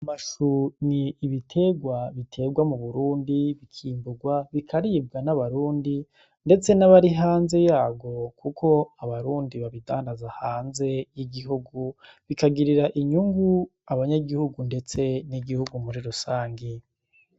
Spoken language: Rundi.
Amashu ni ibiterwa biterwa mu burundi , bikimburwa ,bikaribwa n'abarundi ndetse n'abari hanze yabwo kuko abarundi babidandaza hanze y'igihugu bikagirira inyungu abanyagihugu ndetse n'igihugu muri rusangi.